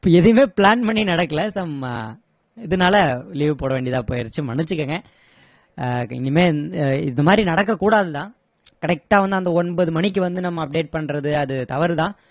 எதுவுமே plan பண்ணி நடக்கலை some இதுனால leave போட வேண்டியதா போயிடுச்சி மன்னிச்சிகோங்க அஹ் இனிமே இ~ இந்த மாதிரி நடக்க கூடாது தான் correct டா வந்து அந்த ஒன்பது மணிக்கு வந்து நம்ம update பண்றது அது தவறு தான்